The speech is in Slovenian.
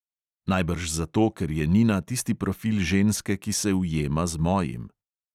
Najbrž zato, ker je nina tisti profil ženske, ki se ujema z mojim.